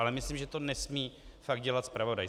Ale myslím, že to nesmí fakt dělat zpravodaj.